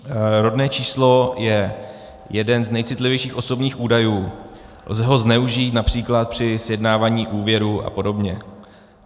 Rodné číslo je jeden z nejcitlivějších osobních údajů, lze ho zneužít například při sjednávání úvěru a podobně.